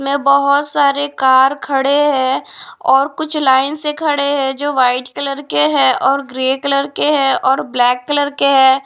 में बहुत सारे कार खड़े हैं और कुछ लाइन से खड़े हैं जो वाइट कलर के हैं और ग्रे कलर के हैं और ब्लैक कलर के हैं।